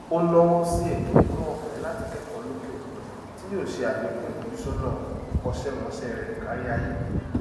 o nawó sí ètò ẹkọọfẹ latí kẹkọọ lókè òkun tí yó se àlékún ìfojúsọnà ìkọṣẹmọṣẹ rẹ káríayé